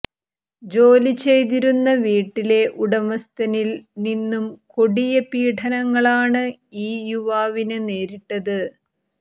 ജോലി ചെയ്തിരുന്ന വീട്ടിലെ ഉടമസ്ഥനിൽ നിന്നും കൊടിയ പീഡനങ്ങളാണ് ഈ യുവാവിന് നേരിട്ടത്